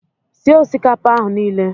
Sie osikapa ahụ niile.